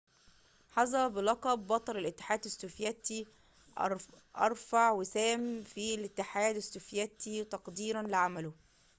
حظي بلقب بطل الاتحاد السوفياتي أرفع وسام في الاتحاد السوفياتي تقديرًا لعمله